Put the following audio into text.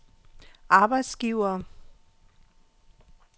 arbejdsgivere